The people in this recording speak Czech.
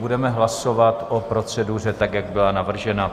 Budeme hlasovat o proceduře, tak jak byla navržena.